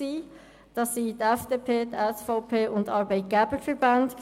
Sie kamen von der FDP, der SVP und von den Arbeitgeberverbänden.